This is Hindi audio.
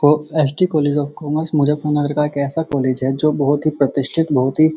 कॉलेज ऑफ़ कॉमर्स मजफ्फरनगर का ऐसा कॉलेज है जो बहोत ही प्रतिष्ठित बहोत ही --